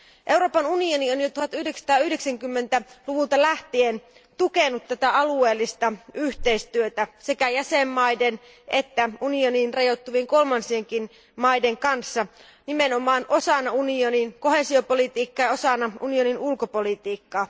Euroopan unioni on jo 1990 luvulta lähtien tukenut tätä alueellista yhteistyötä sekä jäsenvaltioiden että unioniin rajoittuvien kolmansienkien maiden kanssa, nimenomaan osana unionin koheesiopolitiikkaa ja osana unionin ulkopolitiikkaa.